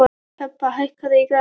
Hebba, hækkaðu í græjunum.